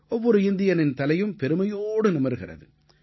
ஒவ்வொரு இந்தியனின் தலையும் பெருமையோடு நிமிர்கிறது